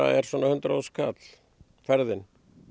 er svona hundrað þúsund kall ferðin